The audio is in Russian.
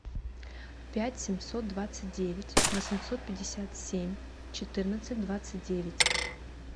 пять семьсот двадцать девять восемьсот пятьдесят семь четырнадцать двадцать девять